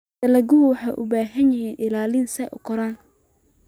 Dalaggayadu waxay u baahan yihiin ilaalin si ay u koraan.